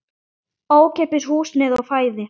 Ókeypis húsnæði og fæði.